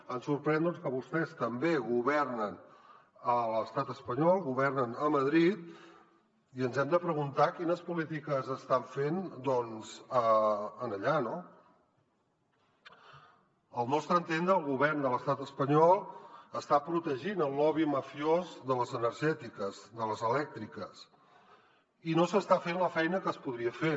ens sorprèn que vostès també governen a l’estat espanyol governen a madrid i ens hem de preguntar quines polítiques estan fent allà no al nostre entendre el govern de l’estat espanyol està protegint el lobby mafiós de les energètiques de les elèctriques i no s’està fent la feina que es podria fer